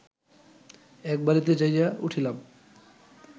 এক বাড়িতে যাইয়া উঠিলাম